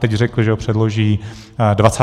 Teď řekli, že ho předloží 20. července.